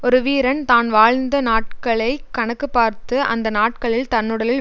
ஒரு வீரன் தான் வாழ்ந்த நாட்களை கணக்கு பார்த்து அந்த நாட்களில் தன்னுடலில்